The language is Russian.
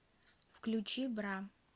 включи бра